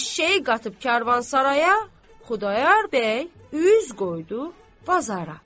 Eşşəyi qatıb karvansaraya, Xudayar bəy üz qoydu bazara.